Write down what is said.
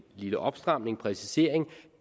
lille opstramning en præcisering